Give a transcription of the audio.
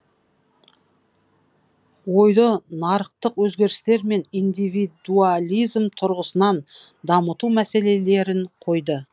ойды нарықтық өзгерістер мен индивидуализм тұрғысынан дамыту мәселелерін қойды